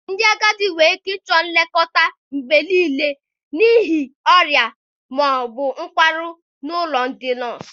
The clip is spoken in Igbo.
Ndị agadi nwere ike ịchọ nlekọta mgbe niile n'ihi ọrịa ma ọ bụ nkwarụ n'ụlọ ndị nọọsụ.